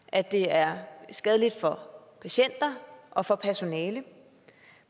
at det er skadeligt for patienter og for personale